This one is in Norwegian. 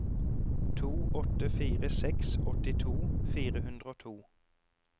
to åtte fire seks åttito fire hundre og to